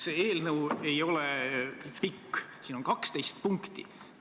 See eelnõu ei ole pikk, siin on 12 punkti.